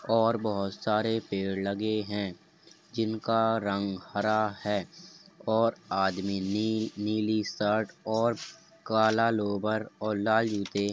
और बहोत सारे पेड़ लगे हैं जिनका रंग हरा है और आदमी नी नीली शर्ट और काला लोअर और लाल जूते --